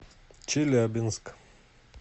челябинск